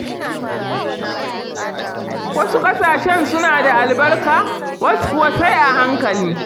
Wasu ƙasashen suna da albarka, wasu kuwa sai a hankali.